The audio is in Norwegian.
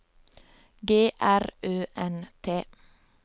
G R Ø N T